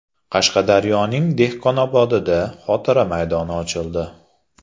Qashqadaryoning Dehqonobodida xotira maydoni ochildi .